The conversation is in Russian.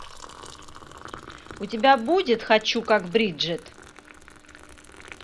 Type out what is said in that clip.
у тебя будет хочу как бриджит